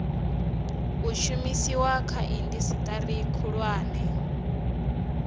u shumiswa kha indasiteri khulwane